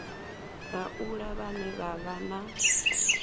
laula vhane vha vha na